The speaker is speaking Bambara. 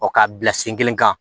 Ɔ k'a bila sen kelen kan